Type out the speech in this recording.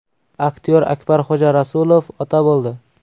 Aktyor Akbarxo‘ja Rasulov ota bo‘ldi.